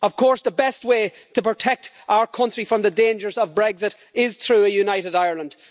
Of course, the best way to protect our country from the dangers of Brexit is through a united Ireland.